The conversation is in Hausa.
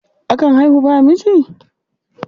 Akan haihu babu miji?